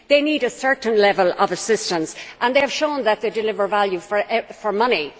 They need a certain level of assistance and they have shown that they deliver value for money.